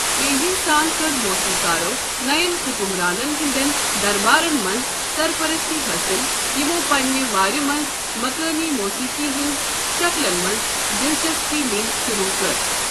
تیزی سان کٔر موسیٖقارو نیَن حُکُمرانَن ہنٛدٮ۪ن دربارَن منٛز سرپرستی حٲصِل یِمَو پننہِ وارِ منٛز مقٲمی موسیقی ہنٛز شکلن منٛز دلچسپی نینۍ شروع کٔر۔